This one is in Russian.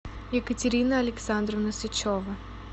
екатерина александровна сычева